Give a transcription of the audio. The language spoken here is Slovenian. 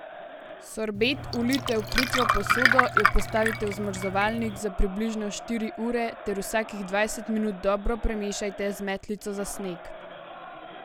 Sorbet vlijte v plitvo posodo, jo postavite v zamrzovalnik za približno štiri ure ter vsakih dvajset minut dobro premešajte z metlico za sneg.